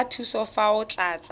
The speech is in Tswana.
batla thuso fa o tlatsa